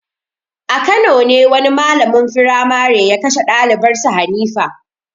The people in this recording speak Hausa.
A Kano ne wani malamin firmare ya kashe dalibar sa Hanifa.